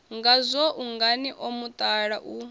ngazwo ungani o mutala u